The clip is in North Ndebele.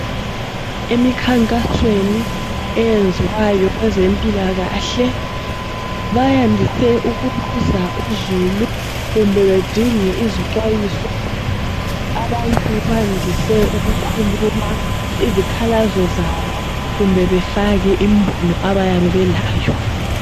Emikhankasweni eyenziwayo kwezempilakahle bayandise ukubuza uzulu kumbe bedinge izixwayiso. Abantu bandise ukukhuluma izikhala zabo kumbe befake imbono abayabe belayo.